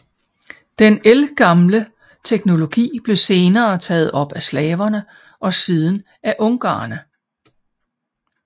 Den ældgamle teknologi blev senere taget op af slaverne og siden af ungarerne